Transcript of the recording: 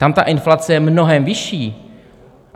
Tam ta inflace je mnohem vyšší.